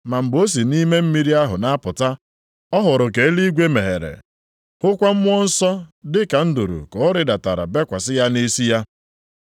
Ma mgbe o si nʼime mmiri ahụ na-apụta, ọ hụrụ ka eluigwe meghere. Hụkwa Mmụọ Nsọ dị ka nduru ka ọ rịdatara bekwasị ya nʼisi ya.